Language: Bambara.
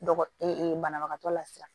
Dɔgɔ banabagatɔ lasira